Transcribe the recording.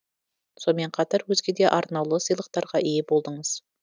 сонымен қатар өзге де арнаулы сыйлықтарға ие болдыңыз